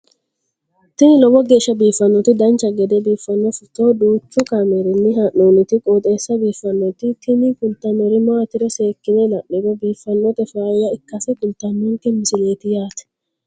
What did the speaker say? tini lowo geeshsha biiffannoti dancha gede biiffanno footo danchu kaameerinni haa'noonniti qooxeessa biiffannoti tini kultannori maatiro seekkine la'niro biiffannota faayya ikkase kultannoke misileeti yaate